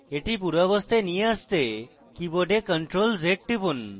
এটি পূর্বাবস্থায় নিয়ে আসতে কীবোর্ডে ctrl + z টিপুন